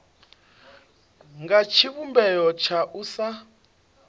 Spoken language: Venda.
nga tshivhumbeo tsha u sa